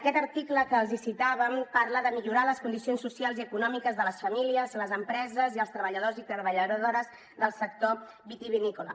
aquest article que els citàvem parla de millorar les condicions socials i econòmiques de les famílies les empreses i els treballadors i treballadores del sector vitivinícola